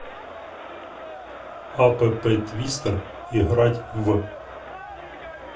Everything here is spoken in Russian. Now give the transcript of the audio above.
апп твистер играть в